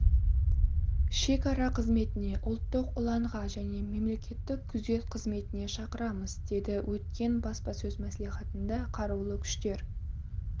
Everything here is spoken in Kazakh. шекара қызметіне ұлттық ұланға және мемлекеттік күзет қызметіне шақырамыз деді өткен баспасөз мәслихатында қарулы күштер